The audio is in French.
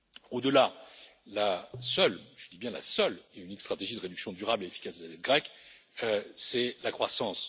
Au delà, la seule, et je dis bien la seule et unique stratégie de réduction durable et efficace de la dette grecque, c'est la croissance.